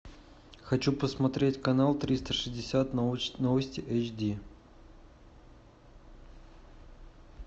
хочу посмотреть канал триста шестьдесят новости эйч ди